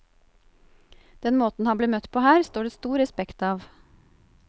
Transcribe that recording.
Den måten han ble møtt på her, står det stor respekt av.